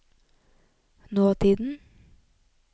nåtiden